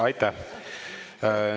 Aitäh!